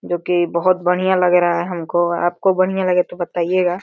जोकि बहुत बढ़िया लग रहा है हमको आपको बढ़िया लगे तो बतायेगा --